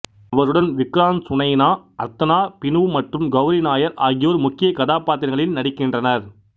அவருடன் விக்ராந்த் சுனைனா அர்த்தனா பினு மற்றும் கௌரி நாயர் ஆகியோர் முக்கிய கதாபாத்திரங்களில் நடிக்கின்றனர்